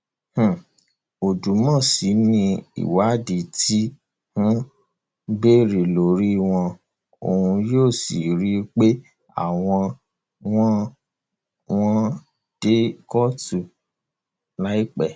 um odùmọsí ni ìwádìí ti um bẹrẹ lórí wọn òun yóò sì rí i pé àwọn wọn wọn dé kóòtù láìpẹ